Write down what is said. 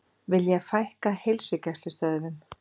Vilja fækka heilsugæslustöðvum